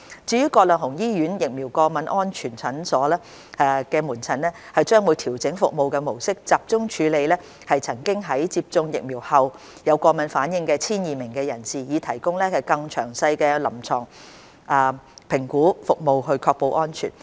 至於葛量洪醫院疫苗過敏安全門診，將會調整服務模式，集中處理曾經在接種疫苗後有過敏反應的約 1,200 名人士，以提供更詳細的臨床評估服務確保安全。